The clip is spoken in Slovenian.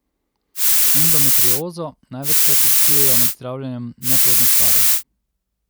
Endometriozo največkrat odkrijejo med zdravljenjem neplodnih parov.